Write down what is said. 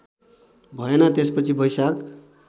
भएन त्यसपछि बैशाख